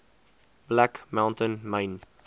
black mountain myn